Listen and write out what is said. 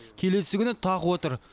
келесі күні тағы отыр